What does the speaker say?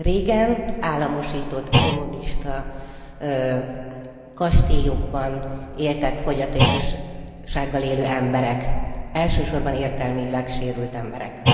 Régen államosított kommunista kastélyokban éltek fogyatékossággal élő emberek, elsősorban értelmileg sérült emberek.